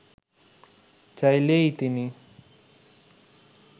চাইলেই তিনি